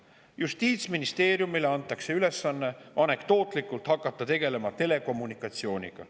Justiitsministeeriumile anti anekdootlikult ülesanne hakata tegelema telekommunikatsiooniga.